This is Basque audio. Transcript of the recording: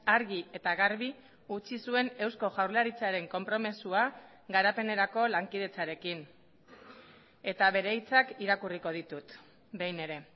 argi eta garbi utzi zuen eusko jaurlaritzaren konpromisoa garapenerako lankidetzarekin eta bere hitzak irakurriko ditut behin ere